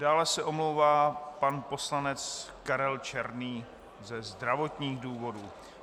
Dále se omlouvá pan poslanec Karel Černý ze zdravotních důvodů.